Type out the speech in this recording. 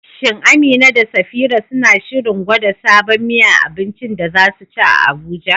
Shin Amina da Safira suna shirin gwada sabon miya a abincin da za su ci a Abuja?